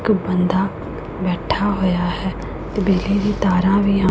ਇੱਕ ਬੰਦਾ ਬੈਠਾ ਹੋਇਆ ਹੈ ਬਿਜਲੀ ਦੀ ਤਾਰਾਂ ਵੀ ਹਨ।